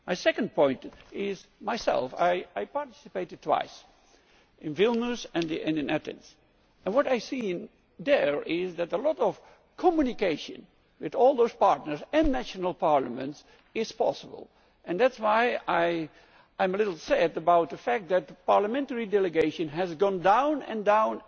My second point is that I myself participated twice, in Vilnius and in Athens, and what I have seen there is that a lot of communication with all those partners and national parliaments is possible, and that is why I am a little sad about the fact that the parliamentary delegation has gone down and down.